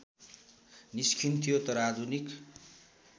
निस्कन्थ्यो तर आधुनिक